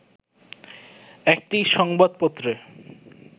একটি সংবাদপত্রে